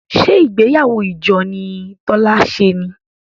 ṣe ìgbéyàwó ìjọ ni Tola ṣe ní?